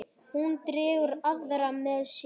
Hún dregur aðra með sér.